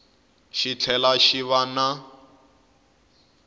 xi tlhela xi va na